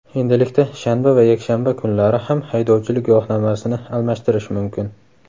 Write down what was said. Endilikda shanba va yakshanba kunlari ham haydovchilik guvohnomasini almashtirish mumkin.